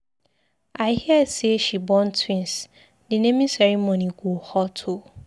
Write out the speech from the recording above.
I hear say she born twins. The naming ceremony go hot oo